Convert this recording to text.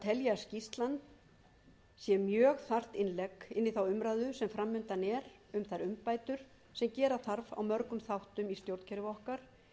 fram undan er um þær umbætur sem gera þarf á mörgum þáttum í stjórnkerfi okkar